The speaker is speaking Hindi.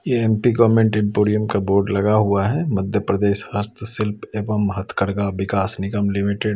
यह एम_पी गवर्नमेंट का बोर्ड लगा हुआ है मध्य प्रदेश हस्त शिल्प एवं महतगर्गा विकास निगम लिमिटेड --